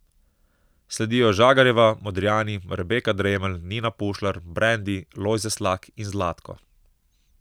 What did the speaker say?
Sledijo Žagarjeva, Modrijani, Rebeka Dremelj, Nina Pušlar, Brendi, Lojze Slak in Zlatko.